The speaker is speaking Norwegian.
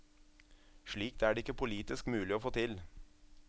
Slikt er det ikke politisk mulig å få til.